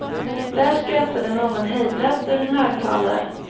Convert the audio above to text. Där skrattade någon hejdlöst ur en högtalare.